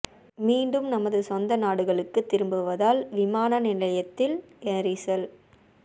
மீண்டும் தமது சொந்த நாடுகளுக்கு திரும்புவதால் விமான நிலையத்தில் நெரிசல்